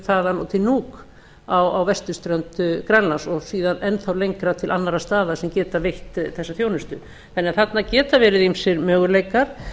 þaðan og til nuuk á vesturströnd grænlands og síðan enn þá lengra til annarra staða sem geta veitt þessa þjónustu þarna geta því verið ýmsir möguleikar